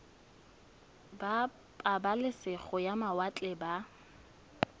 ba pabalesego ya mawatle ba